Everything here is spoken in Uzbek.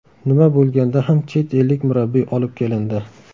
Nima bo‘lganda ham chet ellik murabbiy olib kelindi.